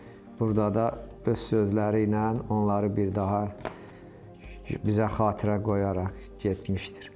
burda da öz sözləri ilə onları bir daha bizə xatirə qoyaraq getmişdir.